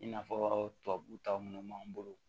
I n'a fɔ tubabu ta minnu b'an bolo